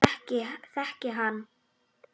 Þekki hann.